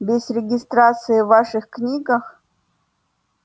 без регистрации в ваших книгах